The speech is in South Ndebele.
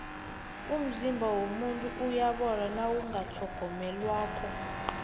umzimba womuntu uyabola nawungatlhogonyelwako